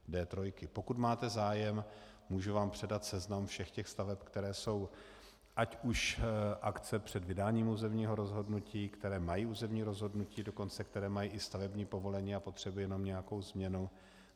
Pokud máte zájem, můžu vám předat seznam všech těch staveb, které jsou - ať už akce před vydáním územního rozhodnutí, které mají územní rozhodnutí, dokonce které mají i stavební povolení a potřebují jenom nějakou změnu.